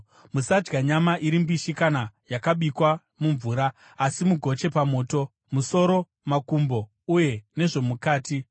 Musadya nyama iri mbishi kana yakabikwa mumvura, asi mugoche pamoto, musoro, makumbo uye nezvomukati.